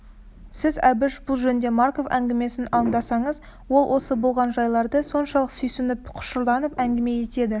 сіз әбіш бұл жөнде марков әңгімесін аңдасаңыз ол осы болған жайларды соншалық сүйсініп құшырланып әңгіме етеді